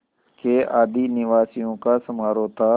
के आदिनिवासियों का समारोह था